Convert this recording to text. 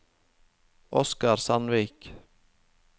Oscar Sandvik